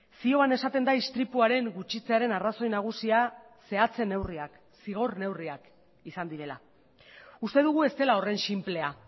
zioan esaten da istripuaren gutxitzearen arrazoi nagusia zehatze neurriak zigor neurriak izan direla uste dugu ez dela horren sinplea